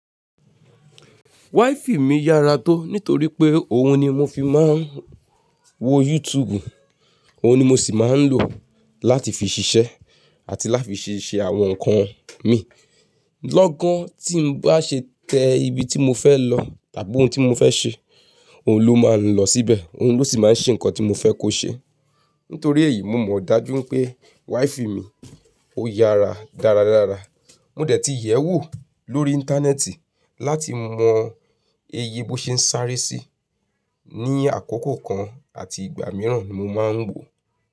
Wáìfì mi yára tó nítorí pé òun ni mo fi máa ń wo YouTube, òun ni mo sì máa ń lò láti fi ṣiṣẹ́ àti láti fi ṣe àwọn nǹkan mi. Lọ́gán tí n bá ṣe tẹ ibi tí mo fẹ́ lọ tàbí ohun tí mo fẹ́ ṣe, òun ló máa ń lọ síbẹ̀, òun ló sì máa ń ṣe nǹkan tí mo fẹ́ kó ṣe. Nítorí èyí, mo mọ̀ dájú pé wáìfì mi ó yára dáradára. Mo dẹ̀ ti yẹ̀wo lórí Íńtánẹ́ẹ̀tì láti mọ eye bó ṣe ń sáré sí ní àkókò kan àti ìgbà mìíràn ni mo máa ń wò.